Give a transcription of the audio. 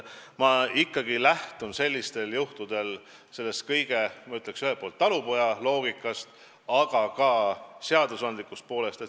Ma ikkagi lähtun sellistel juhtudel ühelt poolt talupojaloogikast, aga ka seadusandlikust poolest.